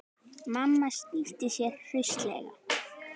Mamma snýtti sér hraustlega.